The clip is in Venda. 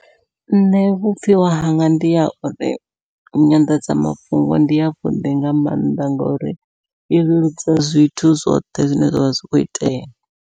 Nṋe vhupfhiwa hanga ndi ha uri nyanḓadzamafhungo ndi yavhuḓi nga maanḓa, ngori i leludza zwithu zwoṱhe zwine zwavha zwi kho itea.